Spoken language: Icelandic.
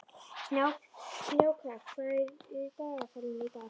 Snjáka, hvað er í dagatalinu í dag?